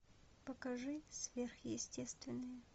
покажи сверхъестественные